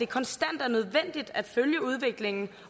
konstant at følge udviklingen